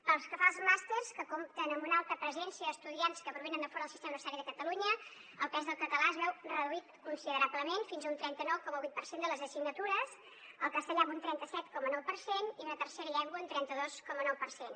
pel que fa als màsters que compten amb una alta presència d’estudiants que provenen de fora del sistema universitari de catalunya el pes del català es veu reduït considerablement fins a un trenta nou coma vuit per cent de les assignatures el castellà amb un trenta set coma nou per cent i una tercera llengua un trenta dos coma nou per cent